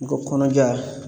N ko kɔnɔja